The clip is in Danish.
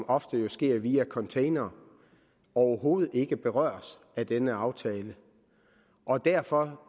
ofte sker via containere overhovedet ikke berøres af denne aftale og derfor